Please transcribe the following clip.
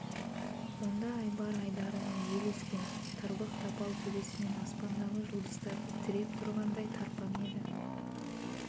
онда айбар айдарынан жел ескен тырбық тапал төбесімен аспандағы жұлдыздарды тіреп тұрғандай тарпаң еді